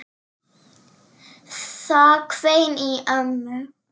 Það hvein í ömmu.